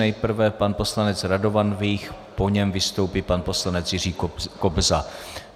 Nejprve pan poslanec Radovan Vích, po něm vystoupí pan poslanec Jiří Kobza.